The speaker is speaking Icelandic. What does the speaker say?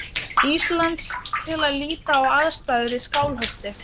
Íslands til að líta á aðstæður í Skálholti.